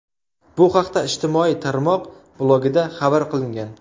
Bu haqda ijtimoiy tarmoq blogida xabar qilingan .